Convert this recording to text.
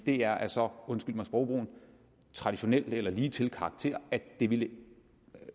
det er af så undskyld mig sprogbrugen traditionel eller ligetil karakter at det ville